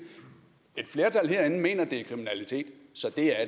et flertal herinde mener det er kriminalitet så det er